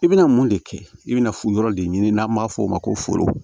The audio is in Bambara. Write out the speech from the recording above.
I bɛna mun de kɛ i bɛna yɔrɔ de ɲini n'an b'a fɔ o ma ko foro